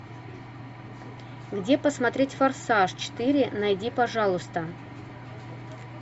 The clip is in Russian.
где посмотреть форсаж четыре найди пожалуйста